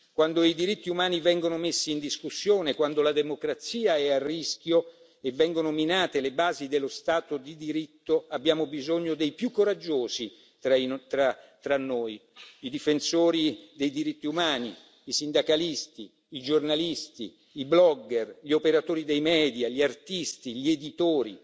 Quando i diritti umani vengono messi in discussione, quando la democrazia è a rischio e vengono minate le basi dello Stato di diritto, abbiamo bisogno dei più coraggiosi tra di noi i difensori dei diritti umani, i sindacalisti, i giornalisti, i blogger, gli operatori dei media, gli artisti e gli editori,